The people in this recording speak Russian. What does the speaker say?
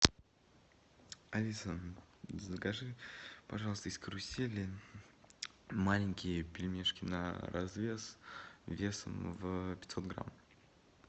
алиса закажи пожалуйста из карусели маленькие пельмешки на развес весом в пятьсот грамм